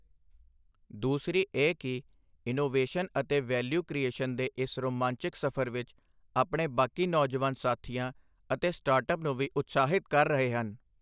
ਦੂਸਰੀ ਇਹ ਕਿ ਇਨੋਵੇਸ਼ਨ ਅਤੇ ਵੈਲਿਊ ਕ੍ਰਿਏਸ਼ਨ ਦੇ ਇਸ ਰੋਮਾਂਚਿਕ ਸਫ਼ਰ ਵਿੱਚ ਆਪਣੇ ਬਾਕੀ ਨੌਜਵਾਨ ਸਾਥੀਆਂ ਅਤੇ ਸਟਾਰਟਅੱਪ ਨੂੰ ਵੀ ਉਤਸ਼ਾਹਿਤ ਕਰ ਰਹੇ ਹਨ।